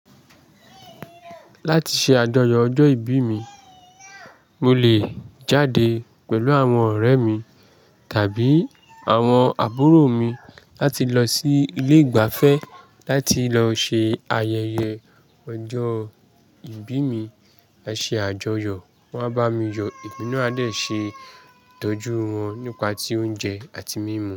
Láti ṣe àjọyọ̀ ọjọ́ ìbí mi, mo lè jáde pẹ̀lú àwọn ọ̀rẹ́ mi tàbí àwọn àbúrò mi láti lọ sí ilé ìgbafẹ́ láti lọ ṣe ayẹyẹ ọjọ́ ìbí mi. Ẹ ṣe àjọyọ̀, wọ́n á bá mi yọ emina a dè ṣe ìtọ́jú wọn nípa ti oúnjẹ àti mímu.